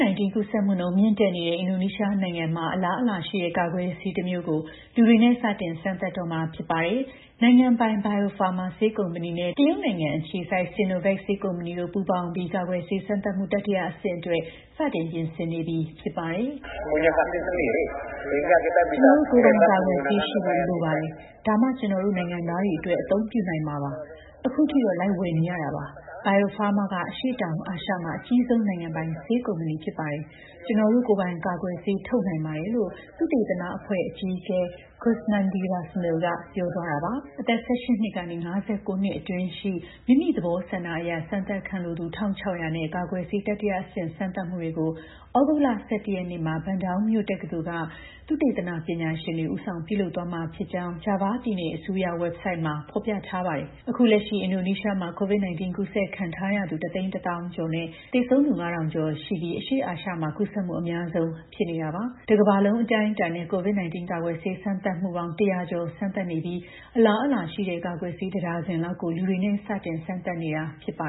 -19 ကူးစက်မှုနှုန်းမြင့်တက်နေတဲ့ အင်ဒိုနီးရှားနိုင်ငံမှာ အလားအလာရှိတဲ့ ကာကွယ်ဆေး တမျိုးကို လူတွေနဲ့ စတင်စမ်းသပ်တော့မှာ ဖြစ်ပါတယ်။ နိုင်ငံပိုင် Bio Farma ဆေးကုမ္ပဏီနဲ့ တရုတ်အခြေစိုက် Sinovac ဆေးကုမ္ပဏီတို့ ပူးပေါင်းပြီး ကာကွယ်ဆေး စမ်းသပ်မှု တတိယဆင့်အတွက် စတင်ပြင်ဆင်နေပြီ ဖြစ်ပါတယ်။ "ကျနော်တို့ ကိုယ်ပိုင်ကာကွယ်ဆေးရှိဖို့လိုပါတယ်။ ဒါမှ ကျနော်တို့ နိုင်ငံသားတွေအတွက် အသုံးပြုနိုင်မှာပါ။ အခုထိတော့ လိုက်ဝယ်နေရတာပါ။ Bio Farma ကအရှေ့တောင်အာရှမှာ အကြီးဆုံး နိုင်ငံပိုင်ဆေးကုမ္ပဏီဖြစ်ပါ တယ်။ ကျနော်တို့ ကိုယ်ပိုင်ကာကွယ်ဆေး ထုတ်နိုင်ပါတယ်။" လို့ သုတေသနအဖွဲ့ အကြီးအကဲ KUSNANDI RUSMIL ကပြောပါတယ်။ အသက် ၁၈ နှစ်ကနေ ၅၉ နှစ်အတွင်းရှိ မိမိသဘောဆန္ဒအရ စမ်းသပ်ခံလိုသူ ၁,၆၀၀ နဲ့ ကာကွယ်ဆေး တတိယဆင့် စမ်းသပ်မှုတွေကို သြဂုတ်လ ၁၁ ရက်နေ့မှာ Bandung မြို့ တက္ကသိုလ်က သုတေသနပညာရှင်တွေက ဦးဆောင်ပြုလုပ်သွားမှာဖြစ်ကြောင်း ဂျာဗားပြည်နယ်အစိုးရဝက်ဘ်ဆိုက်တ်မှာ ဖော်ပြထားပါတယ်။ အခုလက်ရှိ အင်ဒိုနီးရှားမှာ COVID-19 ကူးစက်ခံထားရသူ ၁၁၀,၀၀၀ ကျော်နဲ့ သေဆုံးသူ ၅,၀၀၀ ကျော်ရှိပြီး အရှေ့အာရှဒေသမှာ ကူးစက်မှု အများဆုံးဖြစ်နေတာပါ။ တကမ္ဘာလုံးအတိုင်းအတာနဲ့ COVID-19 ကာကွယ်ဆေး စမ်းသပ်မှုပေါင်း ၁၀၀ ကျော် စမ်းသပ်နေပြီး အလားအလာရှိတဲ့ ကာကွယ်ဆေး တဒါဇင်လောက်ကို လူတွေနဲ့ စတင်စမ်းသပ်နေတာဖြစ်ပါ